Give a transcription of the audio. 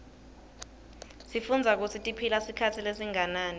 sifundza kutsi tiphila sikhatsi lesinganani